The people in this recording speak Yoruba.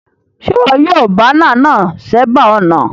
Sé wo yio banner náà sébàá ònà